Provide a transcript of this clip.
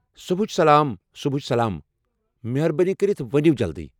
صُبحچہِ سلام، صُبحچہِ سلام مہربٲنی کٔرتھ ونیو جلدی۔